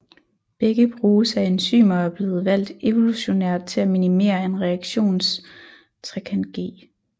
Begge bruges af enzymer og er blevet valgt evolutionært til at minimere en reaktions ΔG